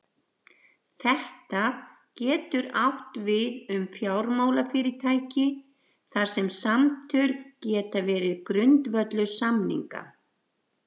þetta getur átt við um fjármálafyrirtæki þar sem samtöl geta verið grundvöllur samninga